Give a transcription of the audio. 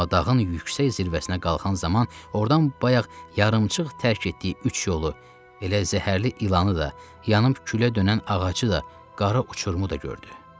Amma dağın yüksək zirvəsinə qalxan zaman ordan bayaq yarımçıq tərk etdiyi üç yolu, elə zəhərli ilanı da, yanıb külə dönən ağacı da, qara uçurumu da gördü.